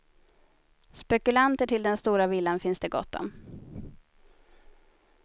Spekulanter till den stora villan finns det gott om.